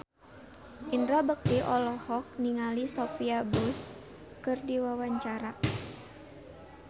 Indra Bekti olohok ningali Sophia Bush keur diwawancara